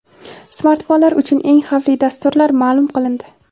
Smartfonlar uchun eng xavfli dasturlar ma’lum qilindi.